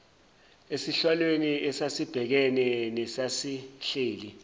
esihlalweni esasibhekene nesasihleli